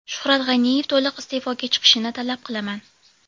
Shuhrat G‘aniyev to‘liq iste’foga chiqishini talab qilaman.